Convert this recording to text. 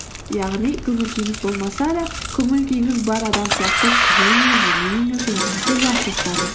яғни көңіл күйіңіз болмаса да көңіл күйіңіз бар адам сияқты күліңіз жымиыңыз өзіңізді жақсы ұстаңыз